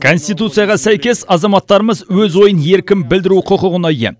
конституцияға сәйкес азаматтарымыз өз ойын еркін білдіру құқығына ие